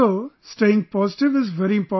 So, staying positive is very important